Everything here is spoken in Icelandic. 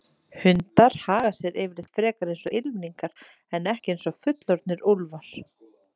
Hundar haga sér yfirleitt frekar eins og ylfingar en ekki eins og fullorðnir úlfar.